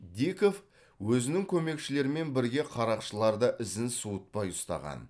диков өзінің көмекшілерімен бірге қарақшыларды ізін суытпай ұстаған